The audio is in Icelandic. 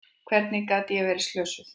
Hvernig gat ég verið slösuð?